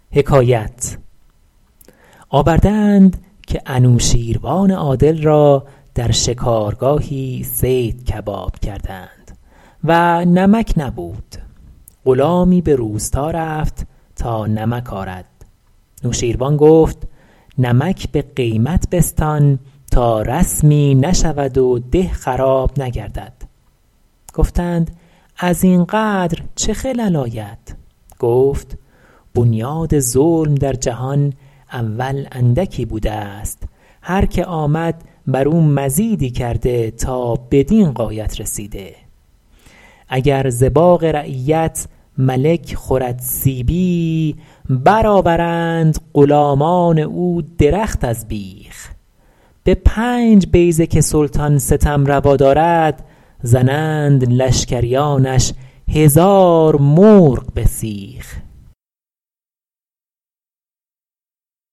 آورده اند که نوشین روان عادل را در شکارگاهی صید کباب کردند و نمک نبود غلامی به روستا رفت تا نمک آرد نوشیروان گفت نمک به قیمت بستان تا رسمی نشود و ده خراب نگردد گفتند از این قدر چه خلل آید گفت بنیاد ظلم در جهان اول اندکی بوده است هر که آمد بر او مزیدی کرده تا بدین غایت رسیده اگر ز باغ رعیت ملک خورد سیبی بر آورند غلامان او درخت از بیخ به پنج بیضه که سلطان ستم روا دارد زنند لشکریانش هزار مرغ به سیخ